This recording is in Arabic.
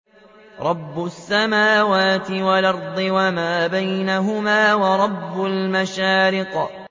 رَّبُّ السَّمَاوَاتِ وَالْأَرْضِ وَمَا بَيْنَهُمَا وَرَبُّ الْمَشَارِقِ